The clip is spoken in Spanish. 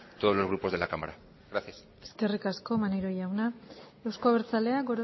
todos los grupos de la cámara gracias eskerrik asko maneiro jauna euzko abertzaleak